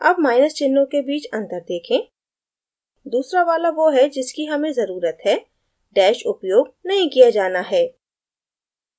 अब माइनस चिन्हों के बीच अंतर देखें दूसरा वाला वो है जिसकी हमें ज़रुरत है dash उपयोग नहीं किया जाना है